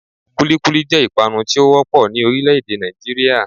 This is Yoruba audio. Kúlíkúlí jẹ́ ìpanu tí ó wọ́pọ̀ ní orílẹ̀ èdè Nàìjíríà